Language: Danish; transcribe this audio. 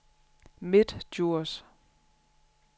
Midtdjurs